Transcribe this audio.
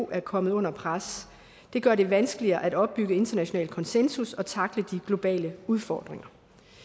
er kommet under pres og det gør det vanskeligere at opbygge international konsensus og tackle de globale udfordringer